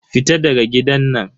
Fita daga gidan nan.